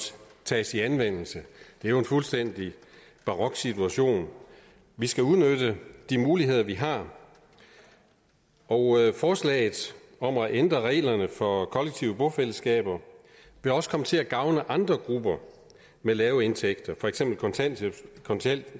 tages i anvendelse det er jo en fuldstændig barok situation vi skal udnytte de muligheder vi har og forslaget om at ændre reglerne for kollektive bofællesskaber vil også komme til at gavne andre grupper med lave indtægter for eksempel kontanthjælpsmodtagere